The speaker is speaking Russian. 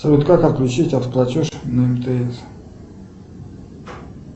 салют как отключить автоплатеж на мтс